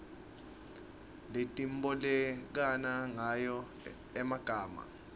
letibolekana ngayo emagama